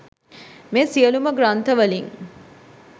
මේ සියලුම ග්‍රන්ථ වලින්